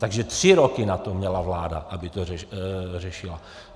Takže tři roky na to měla vláda, aby to řešila.